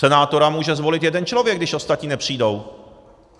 Senátora může zvolit jeden člověk, když ostatní nepřijdou.